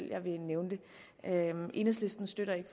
jeg ville nævne det enhedslisten støtter ikke